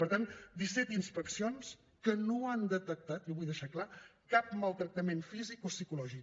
per tant disset inspeccions que no han detectat ho vull deixar clar cap maltractament físic ni psicològic